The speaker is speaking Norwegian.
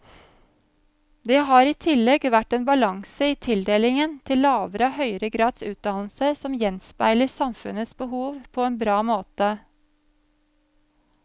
Det har i tillegg vært en balanse i tildelingen til lavere og høyere grads utdannelse som gjenspeiler samfunnets behov på en bra måte.